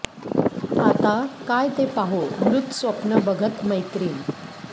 आता काय ते पाहू मृत स्वप्न बघत मैत्रीण